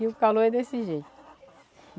E o calor é desse jeito.